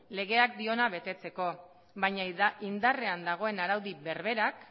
legeak dioena betetzeko baina indarrean dagoen araudi berberak